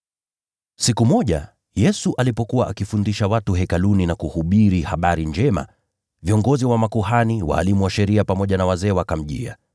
Siku moja, Yesu alipokuwa akifundisha watu Hekaluni na kuhubiri habari njema, viongozi wa makuhani, walimu wa sheria, pamoja na wazee wa watu wakamjia.